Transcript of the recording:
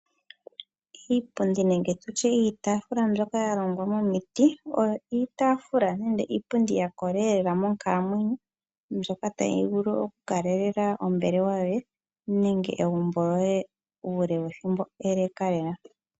Iipundi niitafula mbyoka ya longwa momiti oyo iitafula nenge iipundi ya kola lela monkalamwenyo mbyoka tayi vulu oku kalelela ombelewa yoye, nenge egumbo lyoye uule wethimbo ele lela.